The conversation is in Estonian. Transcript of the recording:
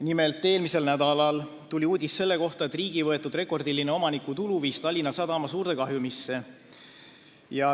Nimelt, eelmisel nädalal tuli uudis selle kohta, et riigi võetud rekordiline omanikutulu viis Tallinna Sadama suurde kahjumisse.